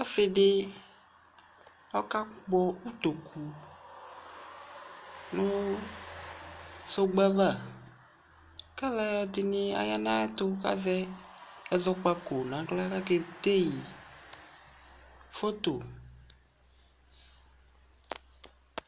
Ɔse de ɔka kpɔ utoku no sɔkpe ava ka alɛde ne aya na yeto kazɛ ɛzɔkpako nahla kake dei foto